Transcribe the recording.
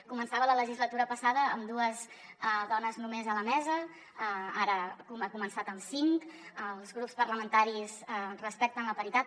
començava la legislatura passada amb dues dones només a la mesa ara ha començat amb cinc els grups parlamentaris respecten la paritat